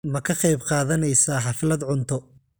Ma ka qaybqaadanaysaa xaflad cunto?